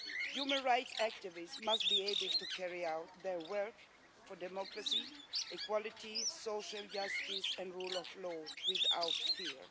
Human rights activists must be able to carry out their work for democracy, equality, social justice and the rule of law without fear.